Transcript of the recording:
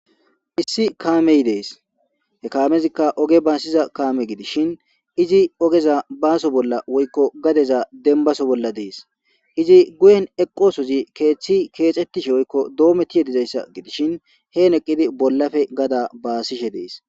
Issi kaamey dees. He kaamezika oge baasiza kaame gidishin, izi oge baaso bolla woykko gadeza dembbaso bolla dees.izi guyen eqqosozi keethi keexettishe woykko doomettishe dizayssa gidishin,hen eqqidi bollape gada baasishe dees.